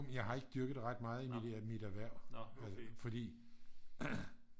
jeg har ikke dyrket det ret meget i mit erhverv fordi